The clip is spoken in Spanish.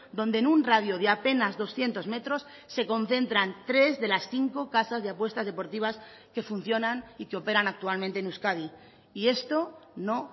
donde en un radio de apenas doscientos metros se concentran tres de las cinco casas de apuestas deportivas que funcionan y que operan actualmente en euskadi y esto no